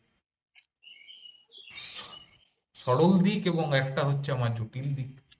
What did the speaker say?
সরল দিক এবং একটা হচ্ছে আমার জটিল দিক।